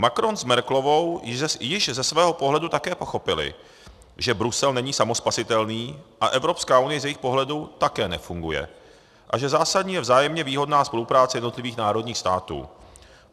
Macron s Merkelovou již ze svého pohledu také pochopili, že Brusel není samospasitelný a Evropská unie z jejich pohledu také nefunguje a že zásadní je vzájemně výhodná spolupráce jednotlivých národních států.